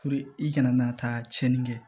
i kana na taa cɛnin kɛ